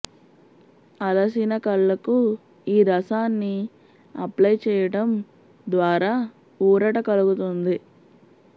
అలసిన కళ్ళకు ఈ రసాన్ని అప్టై చేయడం ద్వారా ఊరట కలుగుతుంది